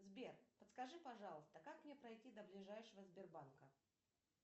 сбер подскажи пожалуйста как мне пройти до ближайшего сбербанка